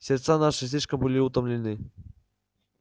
сердца наши слишком были утомлены